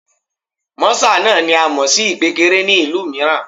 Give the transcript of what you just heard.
Mọ́sà náà ni a mọ̀ sí ìpékeré ní ìlú mìíràn